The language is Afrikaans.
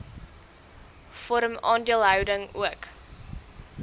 vorm aandeelhouding ook